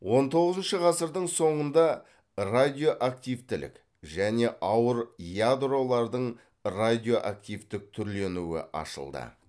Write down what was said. он тоғызыншы ғасырдың соңында радиоактивтілік және ауыр ядролардың радиоактивтік түрленуі ашылды